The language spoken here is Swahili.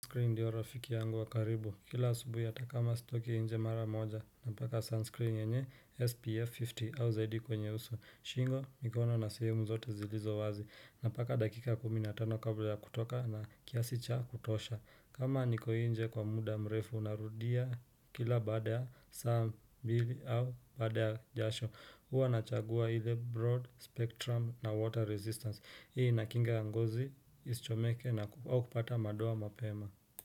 Sunscreen ndiyo rafiki yangu wakaribu, kila asubuhi atakama stoki inje mara moja, napaka sunscreen yenye SPF 50 au ZD kwenye uso, shingo mikono na sehemu zote zilizo wazi, napaka dakika kuminatano kabla ya kutoka na kiasi cha kutosha. Kama nikoinje kwa muda mrefu, narudia kila baada ya saa mbili au baada ya jasho. Huwa nachagua hile broad spectrum na water resistance. Hii inakinga ngozi, ischomeke na kupata madoa mapema.